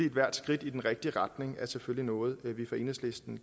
ethvert skridt i den rigtige retning er selvfølgelig noget vi fra enhedslistens